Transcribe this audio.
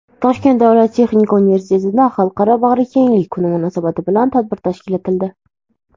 Toshkent davlat texnika universitetida "Xalqaro bag‘rikenglik kuni" munosabati bilan tadbir tashkil etildi.